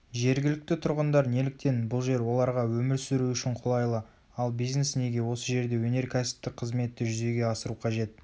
жергілікті тұрғындар неліктен бұл жер оларға өмір сүру үшін қолайлы ал бизнес неге осы жерде өнеркәсіптік қызметті жүзеге асыру қажет